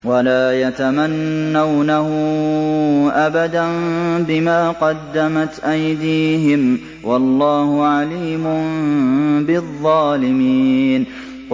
وَلَا يَتَمَنَّوْنَهُ أَبَدًا بِمَا قَدَّمَتْ أَيْدِيهِمْ ۚ وَاللَّهُ عَلِيمٌ بِالظَّالِمِينَ